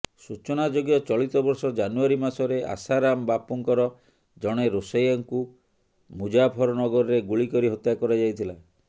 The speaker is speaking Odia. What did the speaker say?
ସୂଚନାଯୋଗ୍ୟ ଚଳିତ ବର୍ଷ ଜାନୁଆରୀ ମାସରେ ଆଶାରାମ ବାପୁଙ୍କର ଜଣେ ରୋଷେୟାଙ୍କୁ ମୁଜାଫରନଗରରେ ଗୁଳି କରି ହତ୍ୟା କରାଯାଇଥିଲା